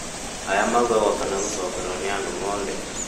maya maũgagwo kana gũcokerwo nĩ andũ othe